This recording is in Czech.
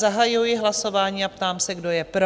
Zahajuji hlasování a ptám se, kdo je pro?